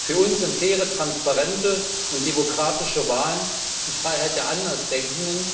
Für uns sind faire, transparente und demokratische Wahlen die Freiheit der Andersdenken,